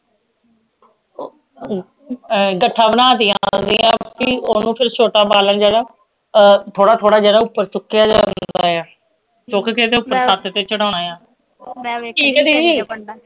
ਉਹ ਆਏਂ ਗੱਠਾ ਬਣਾ ਤੀਆਂ ਓਹਨੂੰ ਕੋਈ ਛੋਟਾ ਬਾਲਣ ਜਿਹੜਾ ਉਹ ਥੋੜਾ ਥੋੜਾ ਜਿਹੜਾ ਉਪਰ ਚੁੱਕਿਆ ਜਾਂਦਾ ਆ ਸੁੱਕ ਕੇ ਤੇ ਉਹ ਪੱਕ ਕੇ ਚੜਾਉਣਾ ਆ